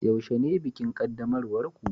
yaushe ne bikin qaddamarwar ku